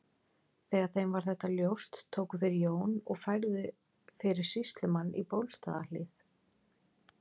Þegar þeim varð þetta ljóst tóku þeir Jón og færðu fyrir sýslumann í Bólstaðarhlíð.